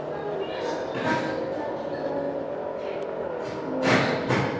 Halla, Harpa og Skúli.